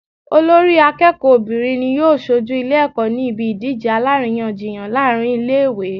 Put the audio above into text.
Olórí akéèkó obìnrin ni yóò sojú Ilé èkó ní ibi ìdíje aláríyànjiyàn láàrin Ilé ìwé